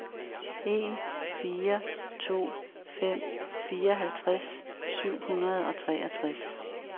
en fire to fem fireoghalvtreds syv hundrede og treogtres